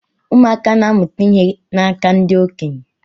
Ụmụaka na-amụta ihe n'aka ndị okenye.